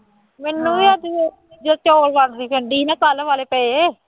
ਮੈਨੂੰ ਵੀ ਆਖਦੀ ਸੀ ਜਦੋਂ ਚੌਲ ਵੰਡਦੀ ਫਿਰਦੀ ਸੀ ਨਾ ਕੱਲ੍ਹ ਵਾਲੇ ਪਏ